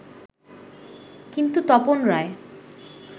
কিন্তু তপন রায়